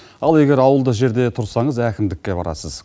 ал егер ауылды жерде тұрсаңыз әкімдікке барасыз